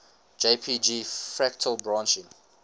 jpg fractal branching